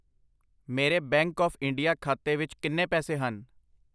ਮੇਰੇ bank of India ਖਾਤੇ ਵਿੱਚ ਕਿੰਨੇ ਪੈਸੇ ਹਨ?